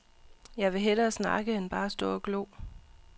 Jeg vil hellere snakke end bare stå og glo.